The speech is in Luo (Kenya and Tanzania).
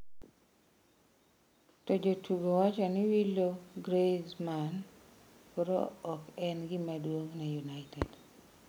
To jotugo wacho ni wilo Griezmann koro ok en gima duong' ne United.